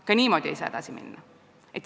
Ka niimoodi ei saa edasi minna.